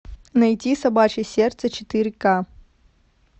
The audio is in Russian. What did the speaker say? найти собачье сердце четыре к